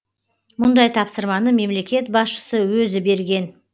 мұндай тапсырманы мемлекет басшысы өзі берген